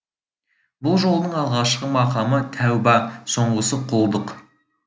бұл жолдың алғашқы мақамы тәуба соңғысы құлдық